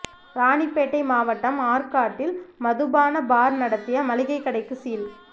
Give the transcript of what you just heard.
ராணிப்பேட்டை மாவட்டம் ஆற்காட்டில் மதுபான பார் நடத்திய மளிகை கடைக்கு சீல்